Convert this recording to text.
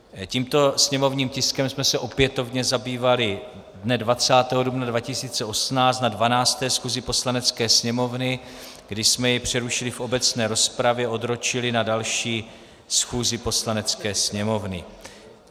Tímto sněmovním tiskem jsme se opětovně zabývali dne 20. dubna 2018 na 12. schůzi Poslanecké sněmovny, kdy jsme jej přerušili v obecné rozpravě, odročili na další schůzi Poslanecké sněmovny.